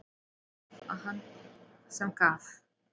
Þar var það hann sem gaf.